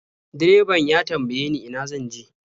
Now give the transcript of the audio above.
Direban ya tambaye ni ina zan je.